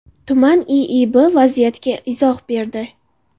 Tuman IIB vaziyatga izoh berdi.